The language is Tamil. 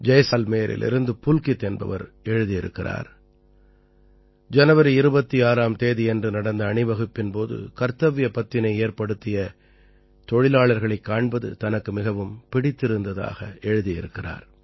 ஜைஸால்மேரிலிருந்து புல்கித் என்பவர் எழுதியிருக்கிறார் ஜனவரி 26ஆம் தேதியன்று நடந்த அணிவகுப்பின் போது கர்த்தவ்ய பத்தினை ஏற்படுத்திய தொழிலாளர்களைக் காண்பது தனக்கு மிகவும் பிடித்திருந்ததாக எழுதியிருக்கிறார்